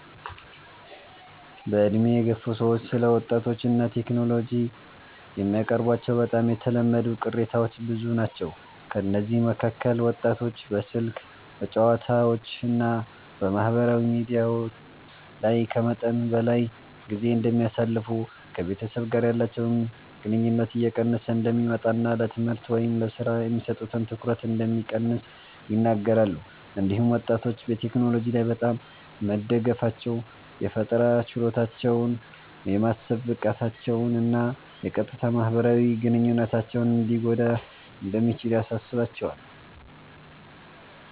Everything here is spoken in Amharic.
በዕድሜ የገፉ ሰዎች ስለ ወጣቶች እና ቴክኖሎጂ የሚያቀርቧቸው በጣም የተለመዱ ቅሬታዎች ብዙ ናቸው። ከእነዚህ መካከል ወጣቶች በስልክ፣ በጨዋታዎች እና በማህበራዊ ሚዲያ ላይ ከመጠን በላይ ጊዜ እንደሚያሳልፉ፣ ከቤተሰብ ጋር ያላቸው ግንኙነት እየቀነሰ እንደሚመጣ እና ለትምህርት ወይም ለሥራ የሚሰጡት ትኩረት እንደሚቀንስ ይናገራሉ። እንዲሁም ወጣቶች በቴክኖሎጂ ላይ በጣም መደገፋቸው የፈጠራ ችሎታቸውን፣ የማሰብ ብቃታቸውን እና የቀጥታ ማህበራዊ ግንኙነታቸውን ሊጎዳ እንደሚችል ያሳስባቸዋል።